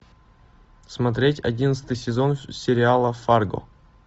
смотреть одиннадцатый сезон сериала фарго